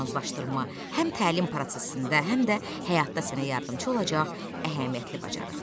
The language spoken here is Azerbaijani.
Proqnozlaşdırma həm təlim prosesində, həm də həyatda sənə yardımçı olacaq əhəmiyyətli bacarıqdır.